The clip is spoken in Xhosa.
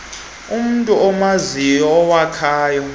unamntu umaziyo owakha